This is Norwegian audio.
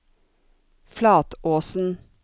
Flatåsen